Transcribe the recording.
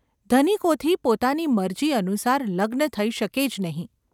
‘ધનિકોથી પોતાની મરજી અનુસાર લગ્ન થઈ શકે જ નહિ.